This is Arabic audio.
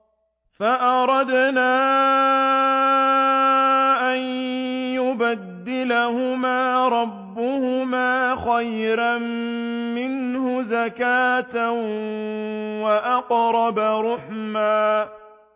فَأَرَدْنَا أَن يُبْدِلَهُمَا رَبُّهُمَا خَيْرًا مِّنْهُ زَكَاةً وَأَقْرَبَ رُحْمًا